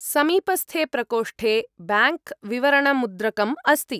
समीपस्थे प्रकोष्ठे ब्याङ्क्विवरणमुद्रकम् अस्ति।